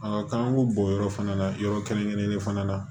k'an k'o bɔ yɔrɔ fana na yɔrɔ kɛrɛnkɛrɛnnen fana na